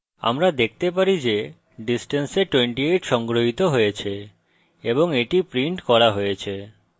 আমরা দেখতে পারি যে distance we 28 সংগ্রহিত হয়েছে এবং এটি printed করা হয়েছে